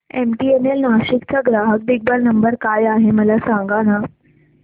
MTNL Nashik चा ग्राहक देखभाल नंबर काय आहे मला सांगाना